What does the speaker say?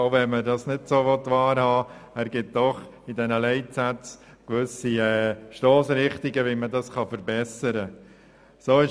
Auch wenn man es nicht so wahrhaben will, ergibt der Evaluationsbericht mit den Leitsätzen gewisse Stossrichtungen, was und wie man verbessern kann.